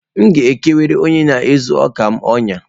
Aga m ekwere onye na-ezu ọka m ọnyá.